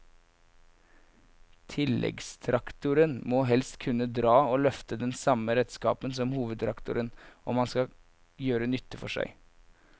Tilleggstraktoren må helst kunne dra og løfte den samme redskapen som hovedtraktoren om han skal gjøre nytte for seg.